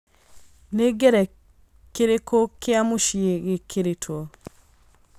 nĩ ngengerekirikũ kia mucĩĩ gĩkiritwo